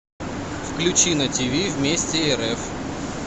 включи на тв вместе рф